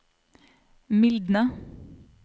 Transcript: mildne